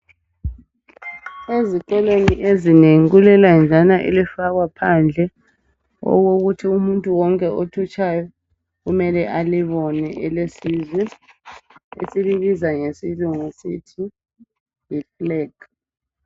Ezikolweni ezinengi kulelenjana elifakwa phandle okokuthi umuntu wonke othutshayo kumele alibone elesizwe, esilibiza ngesilungu sithi yifleg.